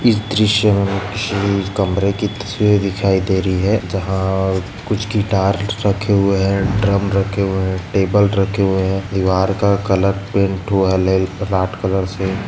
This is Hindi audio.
इस दृश्य किसी कमरे की तस्वीर दिखाई दे रही है जहा कुछ गिटार रखे हुए है। ड्रम रखे हुए है टेबल रखे हुए है। दीवार का कलर पेंट हुआ कलर से --